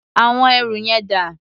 Àwọn ẹrù yẹn dà?